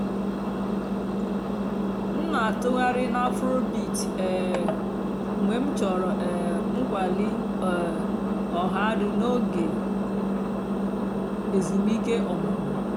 m nà-àtụ́ghàrị́ nà afróbeat um mg̀bé m chọ̀rọ́ um ǹkwàlí um ọ̀hàdụ́ n'óge èzùmìké ọ̀mụ́mụ́.